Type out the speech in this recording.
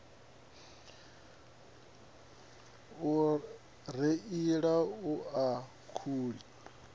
u reila hu na khuli